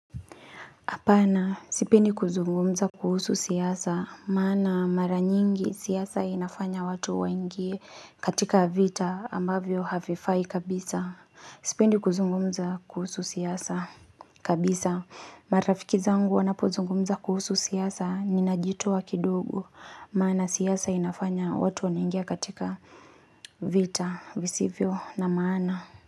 Hapana, sipendi kuzungumza kuhusu siasa, maana mara nyingi siasa inafanya watu waingie katika vita ambavyo hafifai kabisa. Sipendi kuzungumza kuhusu siasa kabisa. Marafiki zangu wanapuzungumza kuhusu siasa, ninajitoa kidogo, maana siasa inafanya watu wanaingia katika vita visivyo na maana.